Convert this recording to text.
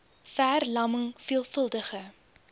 ver lamming veelvuldige